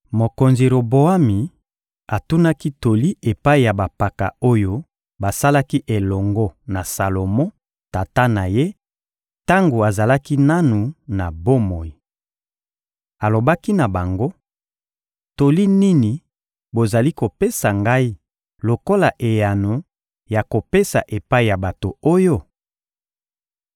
Mokonzi Roboami atunaki toli epai ya bampaka oyo basalaki elongo na Salomo, tata na ye, tango azalaki nanu na bomoi. Alobaki na bango: — Toli nini bozali kopesa ngai lokola eyano ya kopesa epai ya bato oyo?